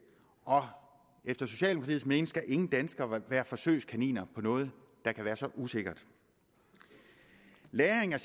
og efter socialdemokratiets mening skal ingen danskere være forsøgskaniner på noget der kan være så usikkert lagring af